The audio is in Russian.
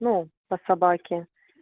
ну по собаке